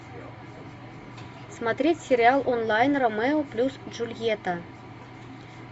смотреть сериал онлайн ромео плюс джульетта